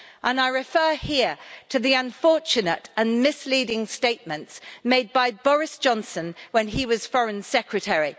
And I refer here to the unfortunate and misleading statements made by Boris Johnson when he was Foreign Secretary.